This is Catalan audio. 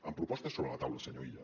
amb propostes sobre la taula senyor illa